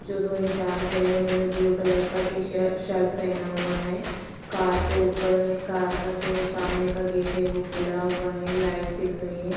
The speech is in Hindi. जो दो इंसान खड़े हैं उन्होंने ब्लू कलर का टी-शर्ट शर्ट पहना हुआ है कार को ऊपर है कार का जो सामने का गेट है वो खुला हुआ है लाइट दिख रही है।